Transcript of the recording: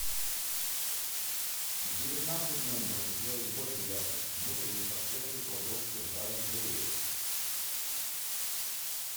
в девятнадцать ноль ноль сделать больше яркость внутренней подсветки кладовки в оранжерее